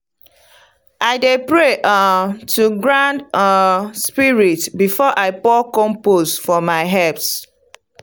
i dey pray um to ground um spirit before i pour compost for my herbs.